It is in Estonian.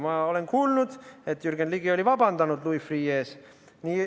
Ma olen kuulnud, et Jürgen Ligi oli vabandanud Louis Freeh' ees.